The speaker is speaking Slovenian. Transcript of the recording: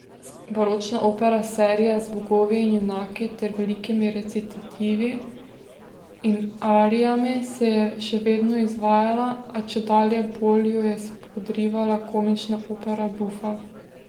Baročna opera seria z bogovi in junaki ter velikimi recitativi in arijami se je še vedno izvajala, a čedalje bolj jo je spodrivala komična opera buffa.